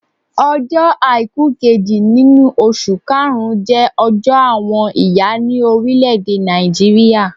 Ọjọ́ àìkú kejì nínú oṣù karùn-ún jẹ́ ọjọ́ àwọn ìyá ni orile-ede Nàìjíríà